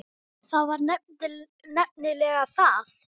Það var nefnilega það.